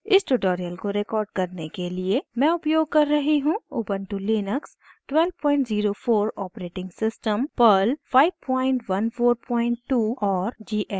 इस tutorial को record करने के लिए मैं उपयोग कर रही हूँ: